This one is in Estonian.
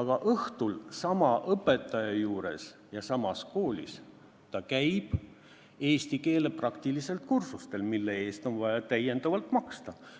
aga õhtul käib sama õpetaja juures ja samas koolis eesti keele praktilistel kursustel, mille eest on vaja maksta lisaraha.